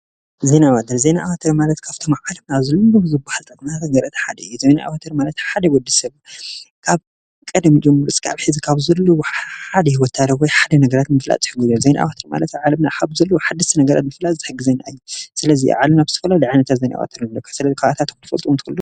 ዜና ዓወት ዜና ዓወት እንታይ ማለት ክፍፅሙ ካብ ዝብል ዜና ዓወት ማለት ሓደ ግዜ ሰብ ካብ ቀደም ጀሚሩ እስካብ ሕዚ ካብ ዘለው ሓደ ውሳነ ወይ ሓደ ነገር ምፍላጥ ዜና ዓወት ኣብ ዓለምና ካብ ዘለው ሓደሽቲ ነገራት ዝሕግዘና እዩ ስለዚ ካብኣቶ ክትፈልጥዎም ትኽእሉ ዶ?